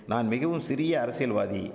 நான் மிகவும் சிறிய அரசியல்வாதி